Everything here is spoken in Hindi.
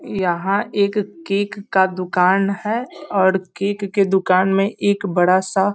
यहाँ एक केक का दुकान है और केक के दुकान में एक बड़ा सा --